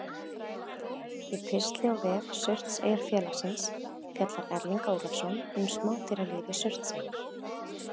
Í pistli á vef Surtseyjarfélagsins fjallar Erling Ólafsson um smádýralíf í Surtsey.